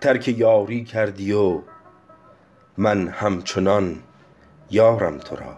ترک یاری کردی و من همچنان یارم تو را